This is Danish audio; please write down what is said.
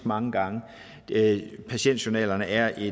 mange gange patientjournalerne er